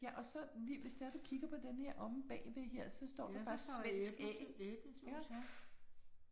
Ja og så hvis det er du kigger på den her lige omme bagved her så står der et svensk æ, iggås